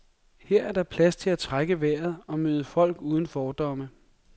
Her er der plads til at trække vejret og møde folk uden fordomme.